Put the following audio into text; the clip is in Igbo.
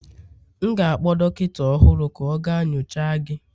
M ga-akpọ dọkịta ọhụrụ ka ọ gaa nyocha gị